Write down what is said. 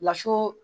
Laso